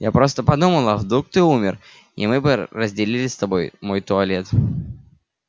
я просто подумала а вдруг ты умер и мы бы разделили с тобой мой туалет